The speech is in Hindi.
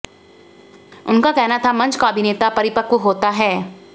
उनका कहना था मंच का अभिनेता परिपक्व होता है